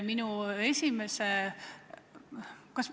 Minu esimese ...